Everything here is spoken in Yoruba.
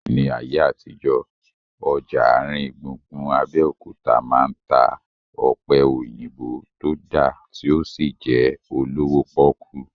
Ní ayé àtijọ́, ọjà àrin gbùngbùn Abẹ́òkúta máa ń ta ọ̀pẹ̀ òyìnbó tó dá tí ó sì jẹ́ olówó pọ́kú